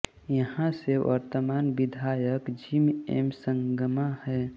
यहाँ से वर्तमान विधायक जिम एम संगमा हैं